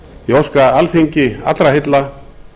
ég óska alþingi allra heilla